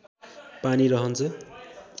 पानी रहन्छ